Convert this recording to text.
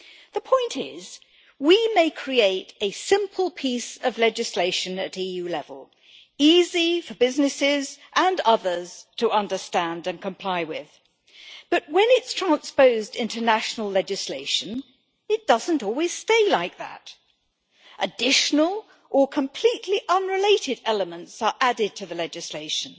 The point is, we may create a simple piece of legislation at EU level, easy for businesses and others to understand and comply with, but when it is transposed into international legislation it does not always stay like that additional, or completely unrelated, elements are added to the legislation.